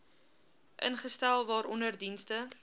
ingestel waaronder dienste